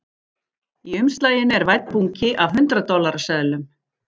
Í umslaginu er vænn bunki af hundrað dollara seðlum